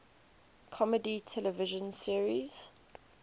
comedy television series